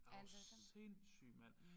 Er du sindssyg mand